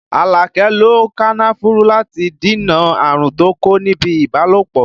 Alake lo kànnáfùrù láti dènà àrùn tó kó níbi ibalopo